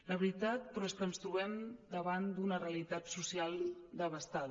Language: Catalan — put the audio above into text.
la veritat però és que ens trobem davant d’una realitat social devastada